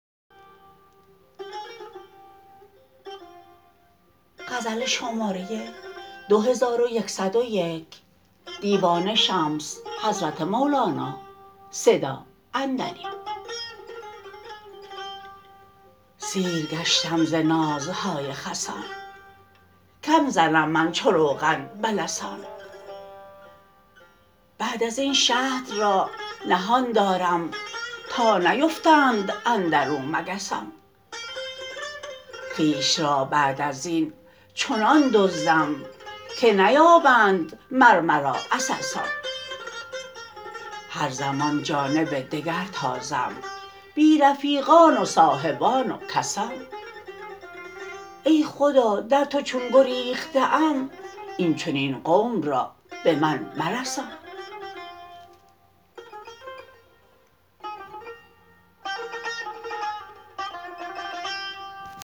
سیر گشتم ز نازهای خسان کم زنم من چو روغن به لسان بعد از این شهد را نهان دارم تا نیفتند اندر او مگسان خویش را بعد از این چنان دزدم که نیابند مر مرا عسسان هر زمان جانب دگر تازم بی رفیقان و صاحبان و کسان ای خدا در تو چون گریخته ام این چنین قوم را به من مرسان